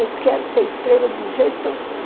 Eu quero que você escreva do jeito que eu sei.